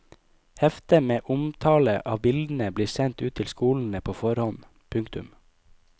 Hefte med omtale av bildene blir sendt ut til skolene på forhånd. punktum